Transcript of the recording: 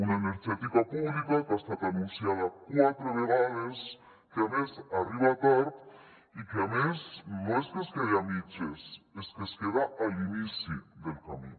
una energètica pública que ha estat anunciada quatre vegades que a més arriba tard i que a més no és que es quedi a mitges és que es queda a l’inici del camí